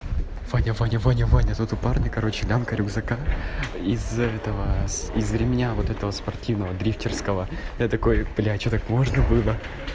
ваня ваня ваня ваня тут у парня короче лямка рюкзака из-за этого из-за ремня вот этого спортивного дрифтерского я такой блять что так можно было